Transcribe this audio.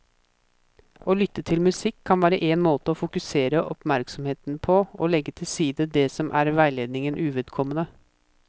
Å lytte til musikk kan være en måte å fokusere oppmerksomheten på og legge til side det som er veiledningen uvedkommende.